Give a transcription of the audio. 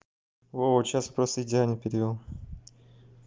вот сейчас просто идеально перевёл